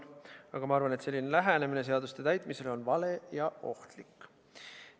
Aga ma arvan, et selline lähenemine seaduste täitmisele on vale ja ohtlik.